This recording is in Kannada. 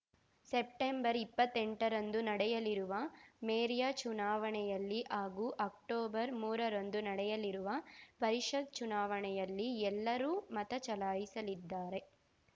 ಸೆಪ್ಟೆಂಬರ್ಇಪ್ಪತ್ತೆಂಟರಂದು ನಡೆಯಲಿರುವ ಮೇರ್ಯ ಚುನಾವಣೆಯಲ್ಲಿ ಹಾಗೂ ಅಕ್ಟೋಬರ್‌ ಮೂರ ರಂದು ನಡೆಯಲಿರುವ ಪರಿಷತ್‌ ಚುನಾವಣೆಯಲ್ಲಿ ಎಲ್ಲರೂ ಮತ ಚಲಾಯಿಸಲಿದ್ದಾರೆ